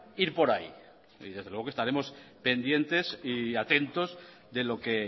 ir por ahí y desde luego que estaremos pendientes y atentos de lo que